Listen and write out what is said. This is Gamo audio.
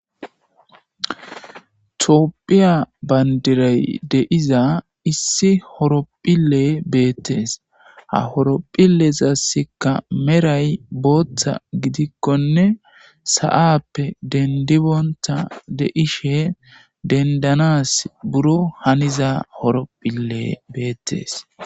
Tophphiya bandiray de'iza issi horophphiley beettes ha horephphilezaikka medhoy booththa gidikkonne sa"appe dendi bonta de'ishshe dendanas buro haniza horophphiley bettes